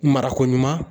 Marako ɲuman